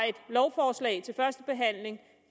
lovforslag til første behandling